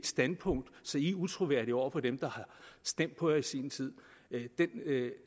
standpunkt så de er utroværdige over for dem der har stemt på partiet i sin tid